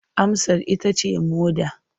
Amsar ita ce moɗa.